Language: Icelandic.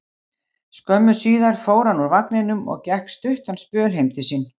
Skömmu síðar fór hann úr vagninum og gekk stuttan spöl heim til sín.